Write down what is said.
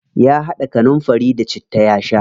Ya haɗa kanunfari da citta ya sha.